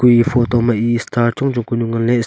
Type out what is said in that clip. kue eya photo ma e star chongchong kanu nganley.